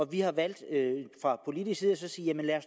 vi har valgt fra politisk side at